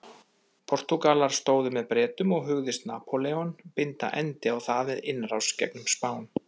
Portúgalar stóðu með Bretum og hugðist Napóleon binda endi á það með innrás gegnum Spán.